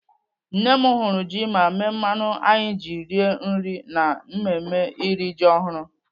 Nne m hụrụ ji ma mee mmanụ anyị ji rie nri na mmemme iri ji ọhụrụ..